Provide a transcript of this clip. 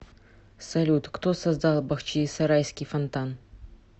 салют кто создал бахчисарайский фонтан